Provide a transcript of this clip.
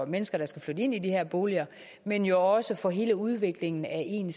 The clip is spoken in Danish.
mennesker der skal flytte ind i de boliger men jo også for hele udviklingen af en